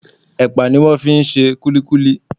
Ẹpa ni wón fi ń ṣe kulikuli.